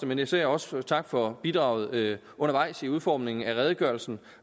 men især også tak for bidraget undervejs i udformningen af redegørelsen